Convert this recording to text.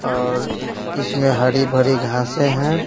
और इसमें हरी भरी घांसे हैं।